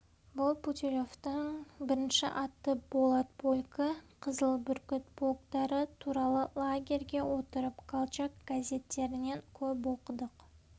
бұл путилевтің бірінші атты болат полкі қызыл бүркіт полктары туралы лагерьде отырып колчак газеттерінен көп оқыдық